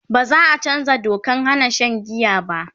baza'a chanzaa Dokan Hana Shan giya ba